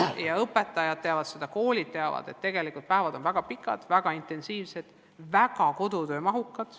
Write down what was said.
Ja õpetajad teavad, koolid teavad, et tegelikult päevad on väga pikad, väga intensiivsed, väga kodutöömahukad.